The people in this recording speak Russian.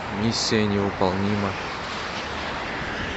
миссия невыполнима